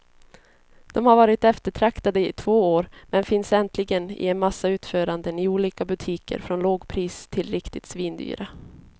De har varit eftertraktade i två år, men finns äntligen i en massa utföranden i olika butiker från lågpris till riktigt svindyra.